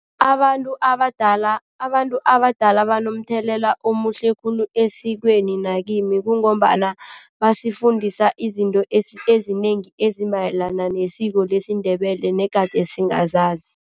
Abantu abadala banomthelela omuhle khulu esikweni nakimi kungombana basifundisa izinto ezinengi ezimayelana nesiko lesiNdebele negade singazazi.